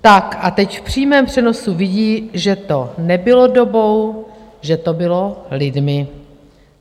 Tak a teď v přímém přenosu vidí, že to nebylo dobou, že to bylo lidmi.